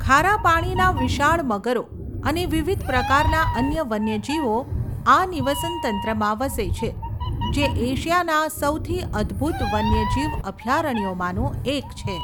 ખારા પાણીના વિશાળ મગરો અને વિવિધ પ્રકારના અન્ય વન્યજીવો આ નિવસનતંત્રમાં વસે છે, જે એશિયાના સૌથી અદભૂત વન્યજીવ અભયારણ્યોમાંનું એક છે.